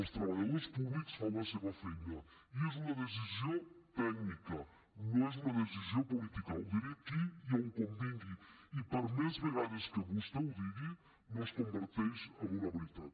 els treballadors públics fan la seva feina i és una decisió tècnica no és una decisió política ho diré aquí i on convingui i per més vegades que vostè ho digui no es converteix en una veritat